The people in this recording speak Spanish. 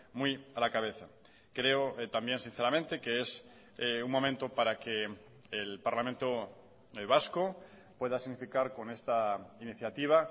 muy a la cabeza creo también sinceramente que es un momento para que el parlamento vasco pueda significar con esta iniciativa